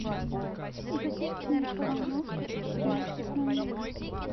запусти микроволновка в пятнадцать ноль ноль